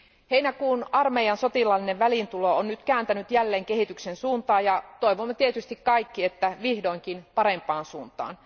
Heinäkuun armeijan sotilaallinen väliintulo on nyt kääntänyt jälleen kehityksen suuntaa, ja toivomme tietysti kaikki, että vihdoinkin parempaan suuntaan.